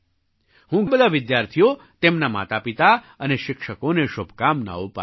હું બધા વિદ્યાર્થીઓ તેમનાં માતાપિતા અને શિક્ષકોને શુભકામનાઓ પાઠવું છું